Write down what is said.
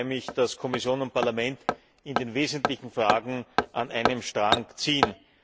Ich freue mich, dass Kommission und Parlament in den wesentlichen Fragen an einem Strang ziehen.